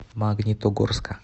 магнитогорска